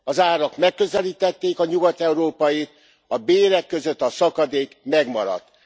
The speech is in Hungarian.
Az árak megközelítették a nyugat európait, a bérek között a szakadék megmaradt.